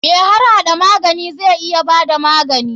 Mai harhada magani zai iya bada magani.